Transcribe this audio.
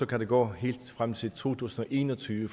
kan der gå helt frem til to tusind og en og tyve